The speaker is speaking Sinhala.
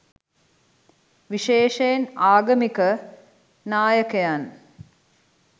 විශේෂයෙන් ආගමික නායකයන්.